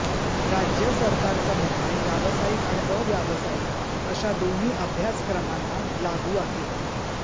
राज्य सरकारचा निर्णय व्यावसायिक आणि अव्यावसायिक अशा दोन्ही अभ्यासक्रमांना लागू आहे